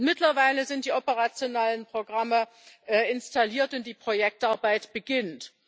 Mittlerweile sind die operationellen Programme installiert und die Projektarbeit beginnt.